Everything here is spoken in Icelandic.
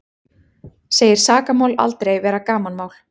Segir sakamál aldrei vera gamanmál